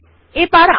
Underline এ click করুন